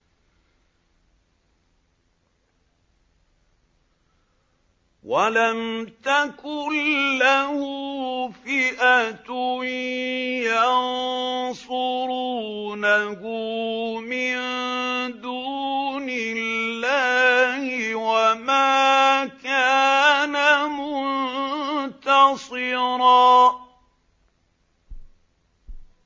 وَلَمْ تَكُن لَّهُ فِئَةٌ يَنصُرُونَهُ مِن دُونِ اللَّهِ وَمَا كَانَ مُنتَصِرًا